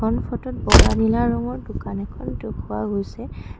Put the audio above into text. এইখন ফটোত বগা নীলা ৰঙৰ দোকান এখন দেখুওৱা গৈছে।